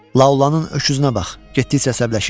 Laulanın öküzünə bax, getdikcə əsəbləşir.